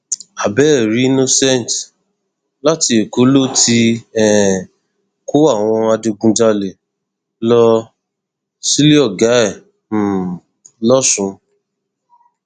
àbẹẹrí innocent láti èkó ló ti um kó àwọn adigunjalè lọ sílé ọgá ẹ um lọsùn